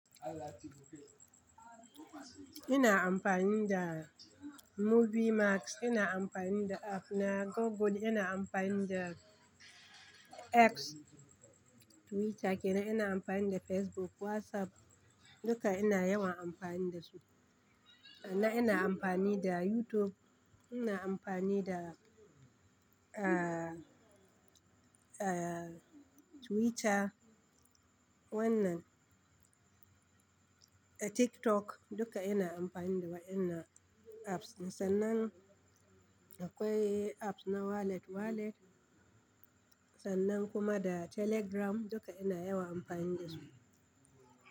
Ina amfani da Movie Max, ina amfani da app na Google, ina amfani da X Twitter, kenanina amfani da Facebook, WhatsApp duka ina yawan amfani da su. Na ina amfani da YouTube, ina amfani da, ah, ah, Twitter, wannan, ah, TikTok duka ina amfani da wa'innan apps. Sannan akwai apps na wallet, wallet sannan kuma da Telegram duka ina yawan amfani da su.